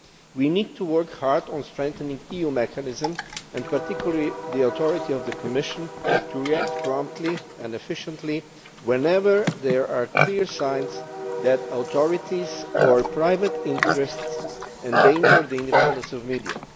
We need to work hard on strengthening EU mechanisms and particularly the authority of the Commission to react promptly and efficiently whenever there are clear signs that authorities or private interests endanger the independence of media.